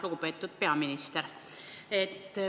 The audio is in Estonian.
Lugupeetud peaminister!